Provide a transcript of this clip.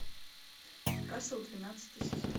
касл двенадцатый сезон